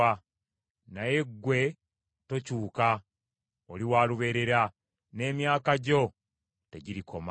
Naye ggwe tokyuka oli wa lubeerera n’emyaka gyo tegirikoma.